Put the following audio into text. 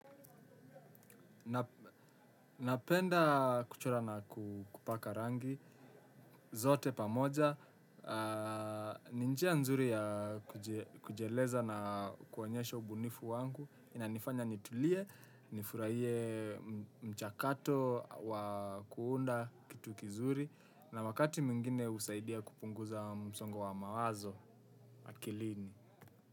Napenda kuchora na kupaka rangi, zote pamoja, ni njia nzuri ya kujieleza na kuonyesha ubunifu wangu, ina nifanya nitulie, nifurahie mchakato wa kuunda kitu kizuri, na wakati mwingine husaidia kupunguza msongo wa mawazo, akilini.